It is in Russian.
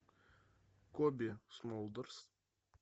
коби смолдерс